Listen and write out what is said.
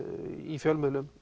í fjölmiðlum